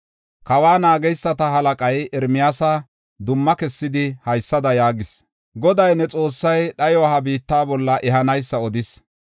Kawa naageysata halaqay Ermiyaasa dumma kessidi, haysada yaagis: “Goday ne Xoossay, dhayo ha biitta bolla ehanaysa odis.